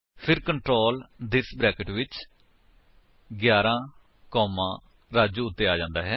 ਫਿਰ control this brackets ਵਿੱਚ 11 comma Raju ਉੱਤੇ ਆ ਜਾਂਦਾ ਹੈ